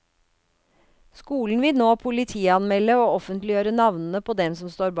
Skolen vil nå politianmelde og offentliggjøre navnene på dem som står bak.